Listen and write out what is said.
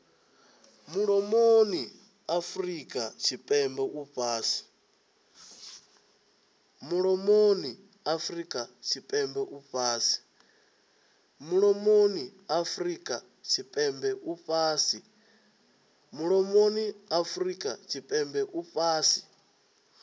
mulomoni afurika tshipembe u fhasi